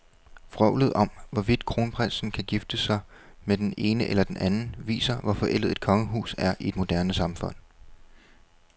Vrøvlet om, hvorvidt kronprinsen kan gifte sig med den ene eller den anden, viser, hvor forældet et kongehus er i et moderne samfund.